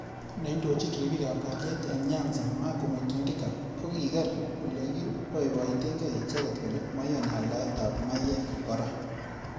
Neindojin ribik ab kaliet eng Nyanza Magu Mutindika kokiker olekiboiboitekei icheket kole maiyani aldaet ab mayek. kora.